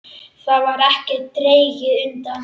Þar var ekkert dregið undan.